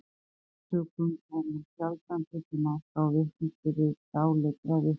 af þessum sökum er nú sjaldan tekið mark á vitnisburði dáleiddra vitna